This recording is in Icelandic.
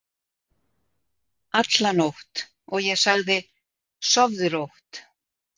alla nótt, og ég sagði: Sofðu rótt.